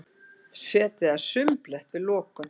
Setið að sumbli eftir lokun